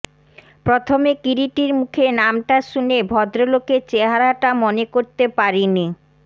প্রথমে কিরীটীর মুখে নামটা শুনে ভদ্রলোকের চেহারাটা মনে করতে পারি নি